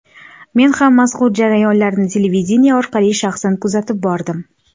Men ham mazkur jarayonlarni televideniye orqali shaxsan kuzatib bordim.